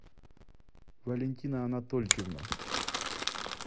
валентина анатольевна